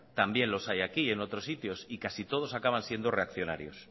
también los hay aquí en otros sitios y casi todos acaban siendo reaccionarios